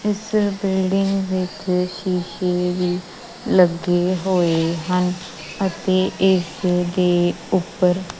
ਇਸ ਬਿਲਡਿੰਗ ਵਿੱਚ ਸ਼ੀਸ਼ੇ ਵੀ ਲੱਗੇ ਹੋਏ ਹਨ ਅਤੇ ਇਸ ਦੇ ਉੱਪਰ--